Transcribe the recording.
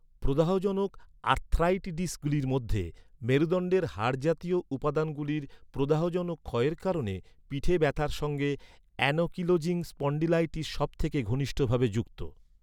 প্রদাহজনক আর্থ্রাইটিডিসগুলির মধ্যে, মেরুদণ্ডের হাড়জাতীয় উপাদানগুলির প্রদাহজনক ক্ষয়ের কারণে পিঠে ব্যথার সঙ্গে অ্যানকিলোজিং স্পণ্ডিলাইটিস সবথেকে ঘনিষ্ঠভাবে যুক্ত।